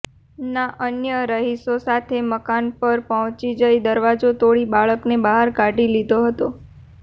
ના અન્ય રહીશો સાથે મકાન પર પહોંચી જઇ દરવાજો તોડી બાળકને બહાર કાઢી લીધો હતો